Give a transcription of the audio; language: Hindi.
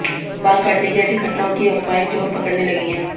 बाल काटने की ऐसी घटनाओं की अफवाहे जोर पकडऩे लगी है